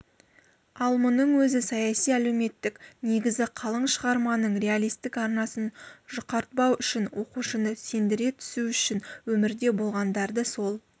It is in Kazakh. ал мұның өзі саяси-әлеуметтік негізі қалың шығарманың реалистік арнасын жұқартпау үшін оқушыны сендіре түсу үшін өмірде болғандарды сол